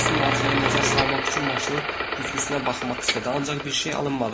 Hels onun arxaya nəzər salmaq üçün maşının güzgüsünə baxmaq istədi, ancaq bir şey alınmadı.